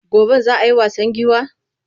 Goben za a yi wasan giwa?